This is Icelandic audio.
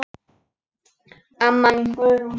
Amma mín Guðrún.